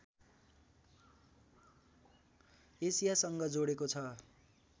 एसियासँग जोडेको छ